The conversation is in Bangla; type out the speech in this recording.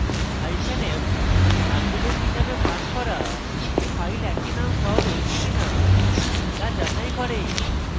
hyphen f argument হিসাবে পাস করা file একই name সহ রয়েছে কিনা তা যাচাই করে